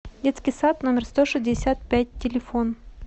детский сад номер сто шестьдесят пять телефон